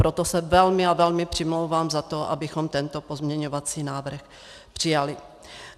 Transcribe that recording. Proto se velmi a velmi přimlouvám za to, abychom tento pozměňovací návrh přijali.